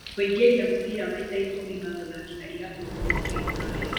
Kũingĩria mũbira maita ikũmi ma gũthakĩra irabu ngũthi cia rũraya